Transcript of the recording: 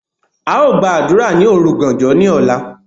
A Ó gba àdúrà ni òrugàànjọ ni ọ̀la.